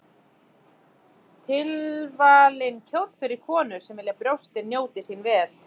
Tilvalinn kjóll fyrir konur sem vilja að brjóstin njóti sín vel.